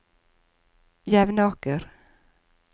Jevnaker